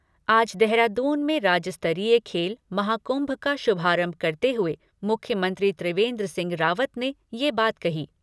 आज देहरादून में राज्य स्तरीय खेल महाकुंभ का शुभारंभ करते हुए मुख्यमंत्री त्रिवेंद्र सिंह रावत ने ये बात कही।